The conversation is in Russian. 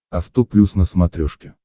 авто плюс на смотрешке